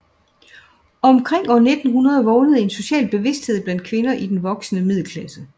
Omkring år 1900 vågnede en social bevidsthed blandt kvinder i den voksende middelklasse